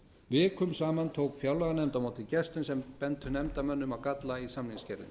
vikum saman tók fjárlaganefnd á móti gestum sem bentu nefndarmönnum á galla á samningsgerðinni